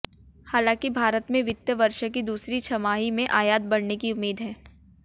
हालांकि भारत में वित्त वर्ष की दूसरी छमाही में आयात बढऩे की उम्मीद है